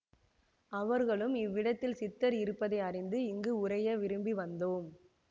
அவர்களும் இவ்விடத்தில் சித்தர் இருப்பதை அறிந்து இங்கு உறைய விரும்பி வந்தோம்